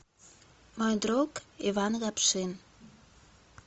мой друг иван лапшин